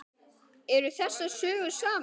Eru þessar sögur sannar?